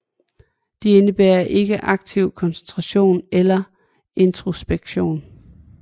De indebærer ikke aktiv koncentration eller introspektion